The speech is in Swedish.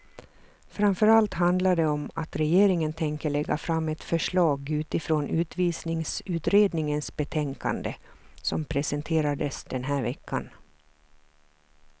Framför allt handlar det om att regeringen tänker lägga fram ett förslag utifrån utvisningsutredningens betänkande, som presenterades den här veckan.